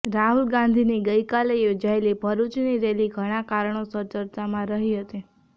રાહુલ ગાંધી ની ગઈ કાલે યોજાયેલી ભરૂચ ની રેલી ઘણા કારણોસર ચર્ચામા રહી હતી